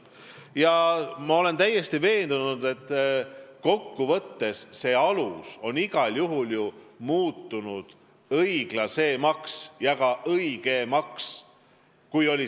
Ja ma olen täiesti veendunud, et kokkuvõttes see alus on igal juhul muutunud õiglasemaks ja ka õigemaks.